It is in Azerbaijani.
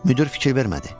Müdir fikir vermədi.